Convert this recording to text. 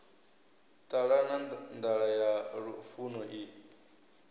ṱalana nḓala ya lufuno i